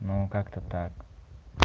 ну как-то так